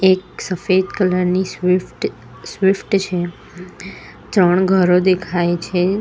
એક સફેદ કલર ની સ્વીફ્ટ સ્વીફ્ટ છે ત્રણ ઘરો દેખાય છે.